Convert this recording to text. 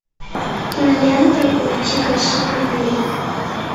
кинолента уйти красиво набери